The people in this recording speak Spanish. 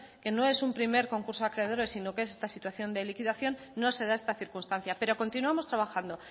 que no es un primer concurso de acreedores sino que en esta situación de liquidación no se da esta circunstancia pero continuamos trabajando